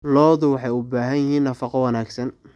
Lo'du waxay u baahan yihiin nafaqo wanaagsan.